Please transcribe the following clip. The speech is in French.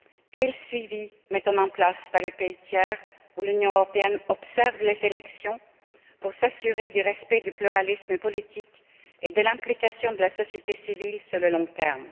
Quel suivi mettons nous en place dans les pays tiers où l'Union européenne observe les élections pour s'assurer du respect du pluralisme politique et de l'implication de la société civile sur le long terme?